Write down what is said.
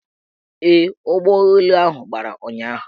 Ee, ụgbọelu gbara ụnyahụ